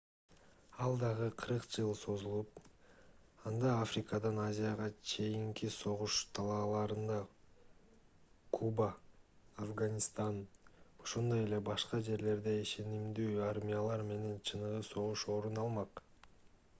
ал дагы 40 жыл созулуп анда африкадан азияга чейинки согуш талааларында куба афганистан ошондой эле башка жерлерде ишенимдүү армиялар менен чыныгы согуш орун алмак